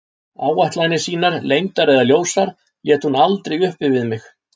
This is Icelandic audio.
Áætlanir sínar, leyndar eða ljósar, lét hún aldrei uppi við mig.